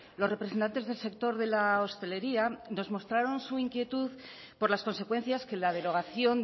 los representantes del sector de la hostelería nos mostraron su inquietud por las consecuencias que la derogación